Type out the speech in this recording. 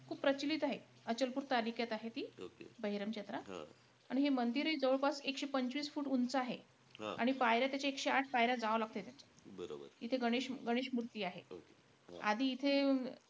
खूप प्रचलित आहे. अचलपूर तालुक्यात आहे ती बहिरमची यात्रा. आणि हे मंदिरही जवळपास एकशे पंचवीस फूट उंच आहे. आणि पायऱ्या त्याच्या एकशे आठ पायऱ्या जावं लागतय त्याच्या. इथे गणेश गणेश मूर्ती आहे. आधी इथे,